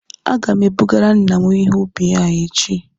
Aga m ebugara nna m ihe ubi ahụ echi